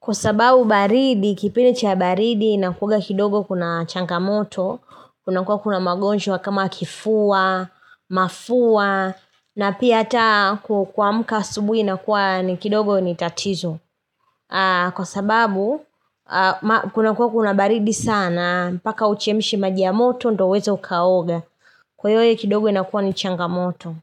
Kwa sababu baridi, kipindi cha baridi, inakuwanga kidogo kuna changamoto. Kuna kuwa kuna magonjwa kama kifua, mafua, na pia hata kuamka asubuhi inakuwa kidogo ni tatizo. Kwa sababu, kuna kuwa kuna baridi sana, mpaka uchemshe maji ya moto, ndio uweze ukaoga. Kwa hiyo kidogo inakuwa ni chagamoto.